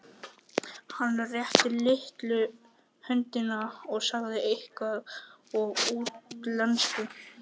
Hann rétti Lillu höndina og sagði eitthvað á útlensku.